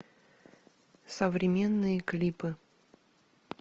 современные клипы